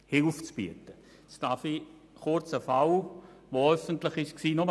Nun möchte ich kurz einen Fall skizzieren, der öffentlich war.